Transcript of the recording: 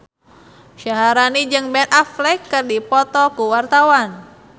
Syaharani jeung Ben Affleck keur dipoto ku wartawan